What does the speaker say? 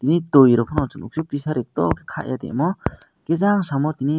ni tui rok phano chung nukphio pisari tor khaye tongmo hwnkhe jang samo timi.